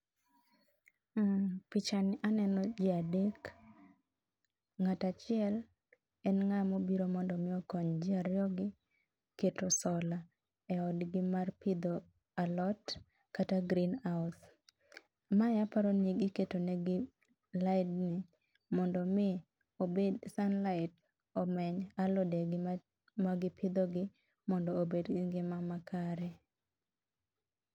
Pichani aneno ji adek. Ng'at achiel en ng'ama obiro mondo mi okony ji ariyogi keto sola eodgi mar pidho alot kata greenhouse. Mae aparo ni iketonegi laindni mondo mi sunlight omeny alodegi magipidhogi mondo obed gi ngima makare.